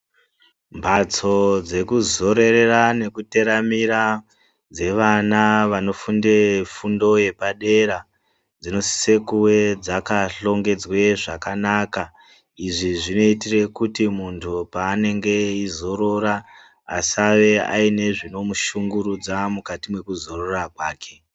Mhatso dzekuzororera nekuteramira dzevana vanofunde fundo yepadera dzinosise kuwe dzakahlongedzwe zvakanaka izvi zvinoitire kuti muntu paanenge eizorora asave aine zvinomushungurudza mukati mekuzorora kwake.